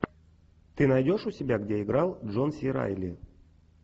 ты найдешь у себя где играл джон си райли